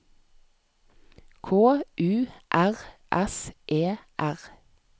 K U R S E R